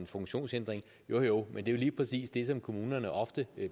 funktionsevne jo jo men det er jo lige præcis det som kommunerne ofte